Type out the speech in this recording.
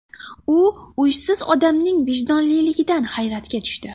U uysiz odamning vijdonliligidan hayratga tushdi.